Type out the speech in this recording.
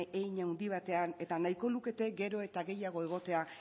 hein handi batean eta nahiko lukete gero eta gehiago egotea